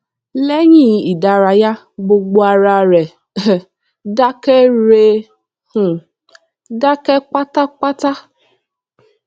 léyìn ìdárayá gbogbo ara re um dákẹ rẹ um dákẹ pátápátá